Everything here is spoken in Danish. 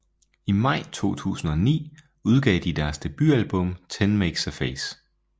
I maj 2009 udgav de deres debutalbum Ten Makes a Face